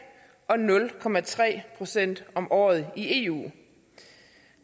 og nul procent om året i eu